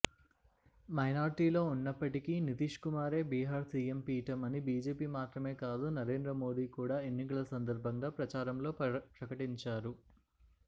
మైనార్టీలో ఉన్నప్పటికీ నితీష్కుమార్కే బీహార్ సిఎం పీఠం అని బిజెపిమాత్రమే కాదు నరేంద్రమోడీ కూడా ఎన్నికల సందర్భంగా ప్రచారంలో ప్రకటించారు